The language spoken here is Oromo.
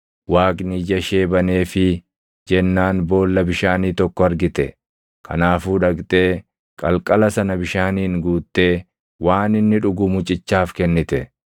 Waaqni ija ishee baneefii jennaan boolla bishaanii tokko argite. Kanaafuu dhaqxee qalqala sana bishaaniin guuttee, waan inni dhugu mucichaaf kennite.